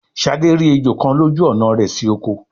Shade rí ejó kán lójú ọnà rẹ si okò